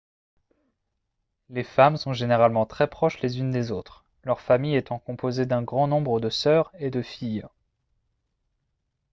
les femmes sont généralement très proches les unes des autres leur famille étant composée d'un grand nombre de sœurs et de filles